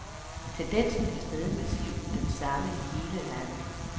Tendensen er stadig massivt den samme i hele landet.